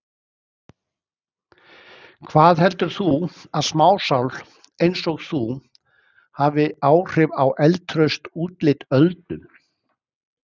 Hvað heldur þú að smásál einsog þú hafi áhrif á eldtraust útlit Öldu?